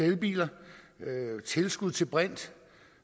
elbiler tilskud til brint